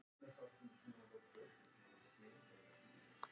Þessi vilji þeirra hefur hins vegar lítið með trúarbrögð að gera.